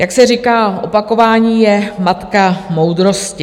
Jak se říká, opakování je matka moudrosti.